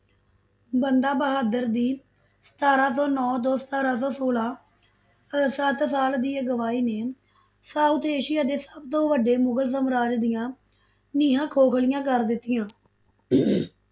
ਬੰਦਾ ਬਹਾਦਰ ਦੀ ਸਤਾਰਾਂ ਸੌ ਨੋਂ ਤੋਂ ਸਤਾਰਾਂ ਸੌ ਛੋਲਾਂ ਅਹ ਸੱਤ ਸਾਲ ਦੀ ਅਗਵਾਈ ਨੇ south asia ਦੇ ਸਭ ਤੋਂ ਵਡੇ ਮੁਗਲ ਸਮਰਾਜ ਦੀਆਂ ਨੀਹਾਂ ਖੋਖਲੀਆਂ ਕਰ ਦਿਤੀਆਂ